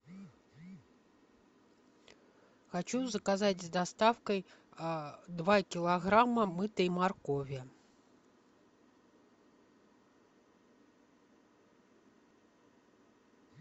хочу заказать с доставкой два килограмма мытой моркови